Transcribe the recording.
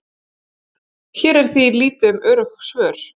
hér er því lítið um örugg svör